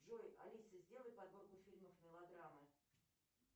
джой алиса сделай подборку фильмов мелодрамы